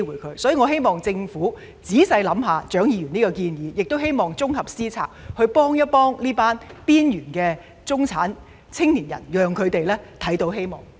因此，我希望政府仔細考慮蔣議員的建議，綜合思考政策，幫助這群邊緣中產青年人，讓他們看見希望。